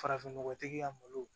Farafinnɔgɔtigi ka malo